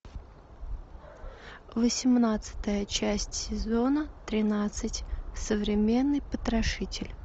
восемнадцатая часть сезона тринадцать современный потрошитель